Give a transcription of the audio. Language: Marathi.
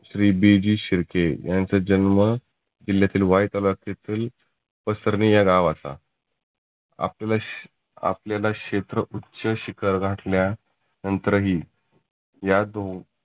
श्री बी जी शिर्के यांचा जन्म किल्यातील वाई तालुक्यातील पसरणे या गावाचा. आपल्याला शे आपल्याला क्षेत्र उच्च शिखर गाठण्या नंतर ही या दोन